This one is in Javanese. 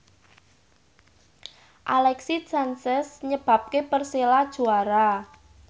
Alexis Sanchez nyebabke Persela juara